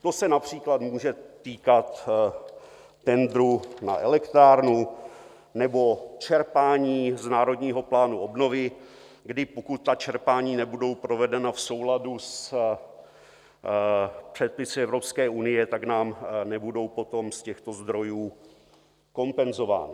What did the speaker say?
To se například může týkat tendru na elektrárnu nebo čerpání z Národního plánu obnovy, kdy pokud ta čerpání nebudou provedena v souladu s předpisy Evropské unie, tak nám nebudou potom z těchto zdrojů kompenzována.